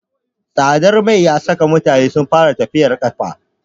Tsadar mai ya saka mutane sun fara tafiyar ƙafa.